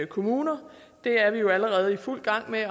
kommunerne det er vi jo allerede i fuld gang med at